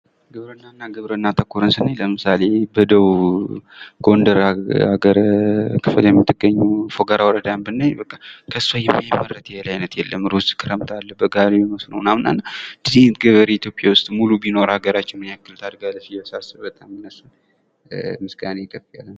ግብርናና ግብርና ተኮርን ስራዎችን ሰናይ ለምሳሌ በደቡብ ጎንደር ክፍል የምትገኝ ፎገራ ወረዳን ብናይ በቃ ከሷ የማይመረት የእህል አይነት የለም። ሩዝ ክረምት አለ፥ በጋ ላይ መስኖ ምናምን አለ እንደዛ አይነት ገበሬ ኢትዮጵያ ውስጥ ቢኖር ምን ያክል ሀገራችን ታርጋለች ብዬ ሳስብ ይገርመኛል ፤ ለእነሱ ምስጋናዬ ከፍ ያለ ነው።